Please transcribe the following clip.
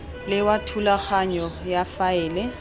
le wa thulaganyo ya faele